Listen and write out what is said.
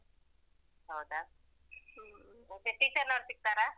ಹೌದಾ ಹ್ಮ್ ಮತ್ತೆ teacher ನವರು ಸಿಗ್ತಾರಾ?